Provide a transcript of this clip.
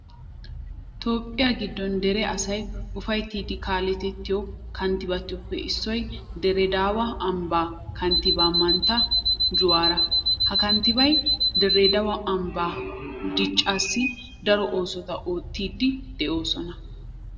Toophphiya giddon dere asay ufattidi kaaletettiyo kanttibatuppe issoy dire daawa ambbaa kanttibaa mantta juwaara. Ha kanttibay dire daawa ambbaa dichchaassi daro oosota oottiiddi de'oosona.